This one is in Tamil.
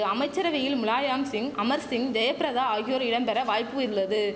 அமைச்சரவையில் முலாயாம்சிங் அமர்சிங் ஜெயப்பிரதா ஆகியோர் இடம் பெற வாய்ப்பு உள்ளது